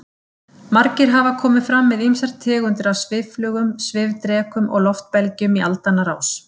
Margir hafa komið fram með ýmsar tegundir af svifflugum, svifdrekum og loftbelgjum í aldanna rás.